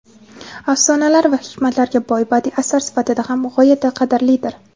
afsonalar va hikmatlarga boy badiiy asar sifatida ham g‘oyatda qadrlidir.